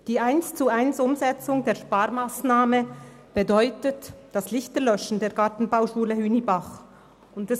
Wenn diese Sparmassnahme eins zu eins umgesetzt wird, bedeutet dies, dass in der Gartenbauschule Hünibach die Lichter gelöscht werden.